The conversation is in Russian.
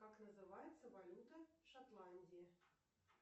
как называется валюта шотландии